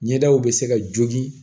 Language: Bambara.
Ɲɛdaw bɛ se ka jogi